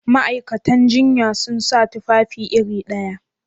Ma'aikatan jinya sun sa tufafi iri ɗaya?